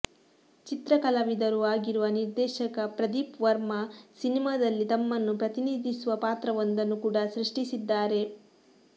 ಚಿತ್ರಕಲಾವಿದರೂ ಆಗಿರುವ ನಿರ್ದೇಶಕ ಪ್ರದೀಪ್ ವರ್ಮಾ ಸಿನೆಮಾದಲ್ಲಿ ತಮ್ಮನ್ನು ಪ್ರತಿನಿಧಿಸುವ ಪಾತ್ರವೊಂದನ್ನು ಕೂಡ ಸೃಷ್ಟಿಸಿದ್ದಾರೆ